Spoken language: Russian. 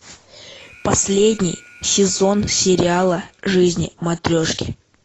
последний сезон сериала жизни матрешки